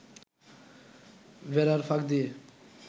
বেড়ার ফাঁক দিয়ে